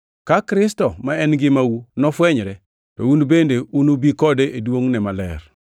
Ka Kristo, ma en ngimau nofwenyre, to un bende unubi kode e duongʼne maler.